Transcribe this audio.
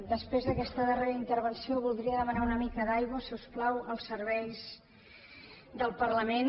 després d’aquesta darrera intervenció voldria demanar una mica d’aigua si us plau als serveis del parlament